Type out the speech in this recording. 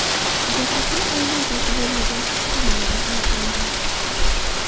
Jasadlar oila a’zosi bo‘lmagan kishi tomonidan aniqlangan.